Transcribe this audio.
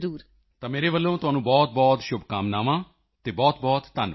ਮੇਰੇ ਵੱਲੋਂ ਤੁਹਾਨੂੰ ਬਹੁਤ ਸ਼ੁਭਕਾਮਨਾ ਹੈ ਅਤੇ ਬਹੁਤਬਹੁਤ ਧੰਨਵਾਦ